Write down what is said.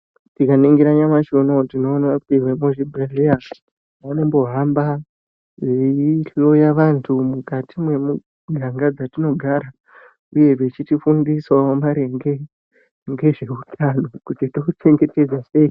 Tikaningira nyamashi unowu tinoona kuti vemuzvibhehleya vanombohamba veihloya vantu mukati mwemiganga dzatinogara uye vechitifundisawo maringe ngezveutano kuti touchengetedza sei.